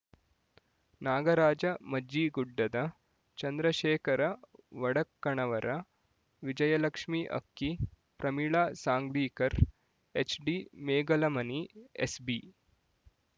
ನಾಗರಾಜ ಮಜ್ಜಿಗುಡ್ಡದ Chandrashekhara Vadakannavar Vijayalakshmi Akki Pramila Sanglikar HD Megalamani SB